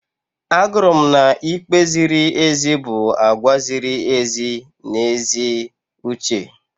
Agụrụ m na ikpe ziri ezi bụ àgwà ziri ezi na ezi uche.